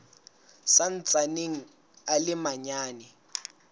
sa ntsaneng a le manyane